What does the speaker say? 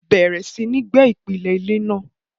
bẹ̀rẹ̀ sí ní gbẹ́ ìpìlẹ̀ ilé náà.